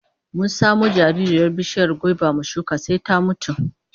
Mun samo jaririyar bishiyar gwaiba mu shuka sai ta mutu